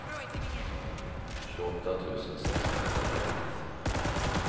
tjugoåtta tusen sexhundratrettioett